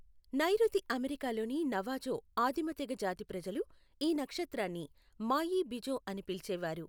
నైఋతి America లోని Navajo ఆదిమ తెగ జాతి ప్రజలు ఈ నక్షత్రాన్ని మాయీ బిజో అని పిలిచేవారు.